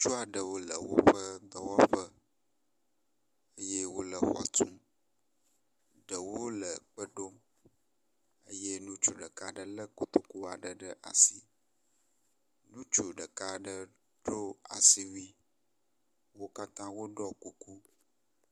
Ŋutsu aɖewo le woƒe dɔwɔƒe eye wo le xɔ tum. Ɖewo le kpe ɖom eye ŋutsu ɖeka aɖe le kotoku ɖe asi. Ŋutsu ɖeka aɖe ɖo asiwui wo katã woɖɔ kuku.